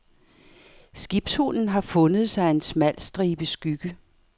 Skibshunden har fundet sig en smal stribe skygge.